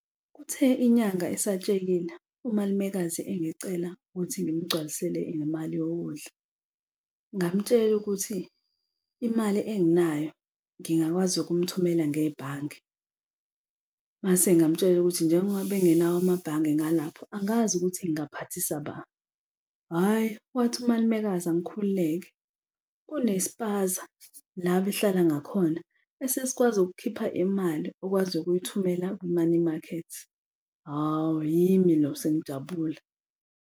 Kuthe inyanga isatshekile, umalumekazi engicela ukuthi ngimgcwalisele ngemali yokudla, ngamtshela ukuthi imali enginayo ngingakwazi ukumthumela ngebhange. Mase ngamutshela ukuthi njengoba bengenawo amabhange ngalapho angazi ukuthi ngaphathisa ba. Hhayi, wathi umalumekazi angikhululeke kune sipaza la bahlala ngakhona esesikwazi ukukhipha imali okwazi ukuyithumela ku-money market. Hawu, yimi lo sengijabule.